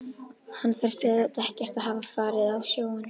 Hann þurfti auðvitað ekkert að hafa farið á sjóinn.